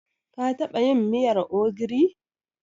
Ka taɓa yin miyar ogiri?